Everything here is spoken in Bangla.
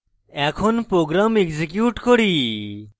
এখন program execute করি